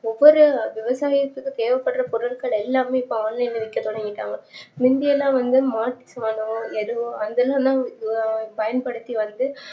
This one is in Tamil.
ஒவ்வொரு விவசாயத்துக்கும் தேவைப்படுற பொருட்கள் எல்லாமே இப்ப online ல விக்க தொடங்கிடாங்க முன்னலாம் வந்து எடை அங்கேஇருந்து என்ன பயன்படுத்தி வந்து